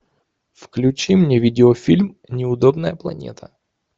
включи мне видеофильм неудобная планета